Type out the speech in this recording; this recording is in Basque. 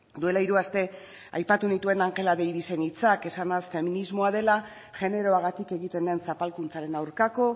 duela hiru aste aipatu nituen angela davisen hitzak esanaz feminismoa dela generoagatik egiten den zapalkuntzaren aurkako